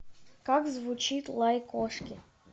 как звучит лай кошки